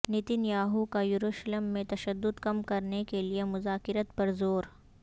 Nitin Yahoo کا یروشلم میں تشدد کم کرنے کیلیے مذاکرات پر زور